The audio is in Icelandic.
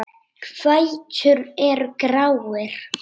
Fætur eru gráir.